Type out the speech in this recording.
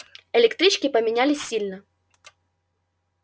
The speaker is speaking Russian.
электрички поменялись сильно